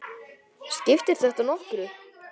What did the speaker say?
Skiptir þetta nokkru?